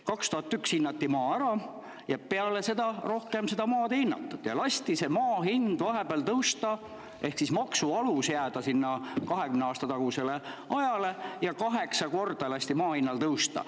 2001. aastal hinnati maa ära, aga peale seda maad rohkem ei hinnatud ning lasti maksu alusel jääda 20 aasta taguse aja ja kaheksa korda maa hinnal tõusta.